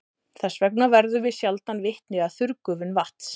Þess vegna verðum við sjaldan vitni að þurrgufun vatns.